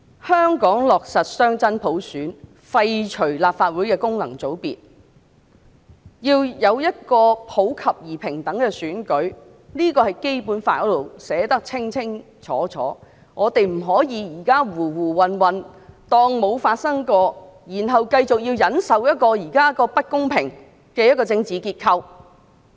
香港落實雙真普選，廢除立法會的功能界別，要有普及而平等的選舉，這點在《基本法》裏清楚訂明，我們現在不可以胡胡混混當作沒有發生過，然後繼續忍受現時不公平的政治架構。